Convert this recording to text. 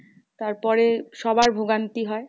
তারপরে সবাই ভোগান্তি হয়।